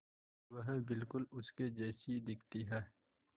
वह बिल्कुल उसके जैसी दिखती है